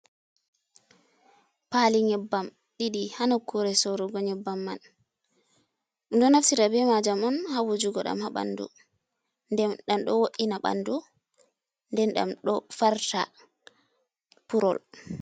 Pali nyebbam ɗiɗi hanukkure sorugo nyebbam man, minɗo naftira be majam on ha wujugo ɗam ha bandu, nden ɗam ɗo wo’ina bandu, nden ɗam ɗo farta purol.